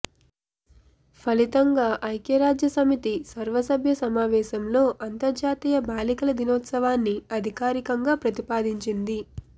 ఫలితంగా ఐక్యరాజ్యసమితి సర్వసభ్య సమావేశంలో అంతర్జాతీయ బాలికల దినోత్సవాన్ని అధికారికంగా ప్రతిపాదించింది